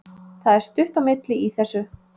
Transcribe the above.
Það er stutt á milli í þessu!